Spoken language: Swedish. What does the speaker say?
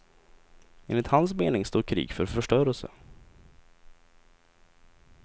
Enligt hans mening står krig för förstörelse.